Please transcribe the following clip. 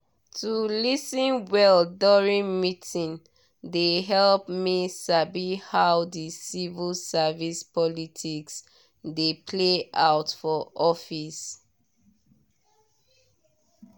to lis ten well during meetings dey help me sabi how the civil service politics dey play out for office.